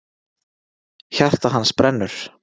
Hjarta hans brennur!